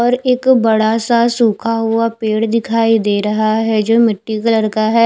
और एक बडा सा सुखा हुआ पेड़ दिखाई रहा है जो मिटटी कलर का है।